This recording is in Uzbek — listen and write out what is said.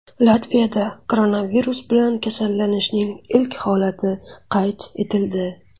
Latviyada koronavirus bilan kasallanishning ilk holati qayd etildi.